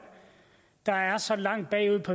der er så langt bagud